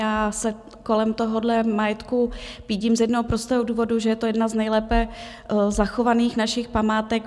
Já se kolem tohohle majetku pídím z jednoho prostého důvodu, že je to jedna z nejlépe zachovaných našich památek.